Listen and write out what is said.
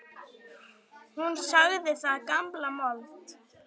Hún sagði það gamla mold.